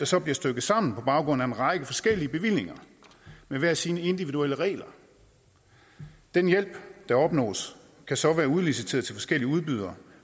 så stykket sammen på baggrund af en række forskellige bevillinger med hver sine individuelle regler den hjælp der opnås kan så være udliciteret til forskellige udbydere